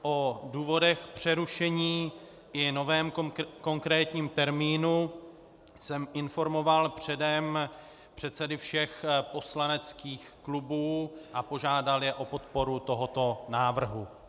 O důvodech přerušení i novém konkrétním termínu jsem informoval předem předsedy všech poslaneckých klubů a požádal je o podporu tohoto návrhu.